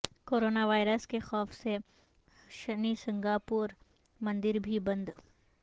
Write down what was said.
corona virus کے خوف سے شنی سنگناپور مندر بھی بند